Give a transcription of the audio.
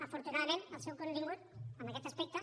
afortunadament el seu contingut en aquest aspecte